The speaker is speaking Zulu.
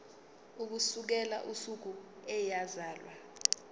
ukusukela usuku eyazalwa